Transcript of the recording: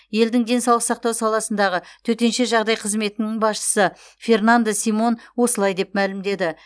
елдің денсаулық сақтау саласындағы төтенше жағдай қызметінің басшысы фернандо симон осылай деп мәлімдеді